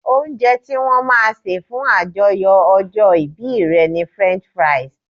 Oúnje tí wón máa se fún àyájó ojó ibí re ni French fries